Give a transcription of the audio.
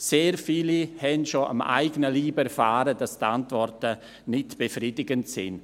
Sehr viele haben schon am eigenen Leib erfahren, dass die Antworten nicht befriedigend sind.